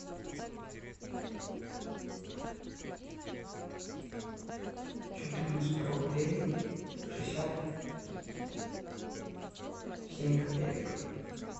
четырнадцать рублей шестьдесят семь копеек